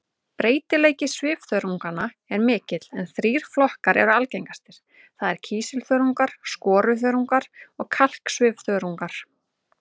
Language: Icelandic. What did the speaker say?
Breytileiki svifþörunganna er mikill en þrír flokkar eru algengastir, það er kísilþörungar, skoruþörungar og kalksvifþörungar.